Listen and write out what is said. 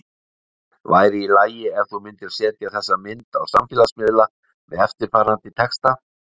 Væri í lagi ef þú myndir setja þessa mynd á samfélagsmiðla með eftirfarandi texta?